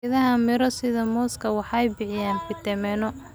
Geedaha miro sida mooska waxay bixiyaan fitamiinno.